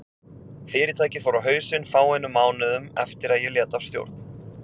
Fyrirtækið fór á hausinn fáeinum mánuðum eftir að ég lét af stjórn.